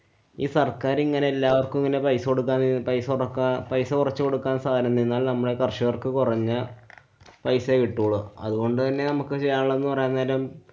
ഈ സര്‍ക്കാരിങ്ങനെ എല്ലാവര്‍ക്കും ഇങ്ങനെ പൈസ കൊടുക്കാ~ പൈസ കൊടുക്കാ~ പൈസ കൊറച്ചുകൊടുക്കാന്‍ സാനംണ്ട്. ന്നാല്‍ നമ്മളെ ഈ കര്‍ഷകര്‍ക്ക് കൊറഞ്ഞ പൈസ കിട്ടോള്ളൂ. അതുകൊണ്ടന്നെ നമ്മക്ക് ചെയ്യാനുള്ളതെന്നു പറയാന്‍ നേരം